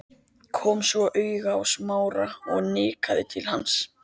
Kom svo auga á Smára og nikkaði til hans.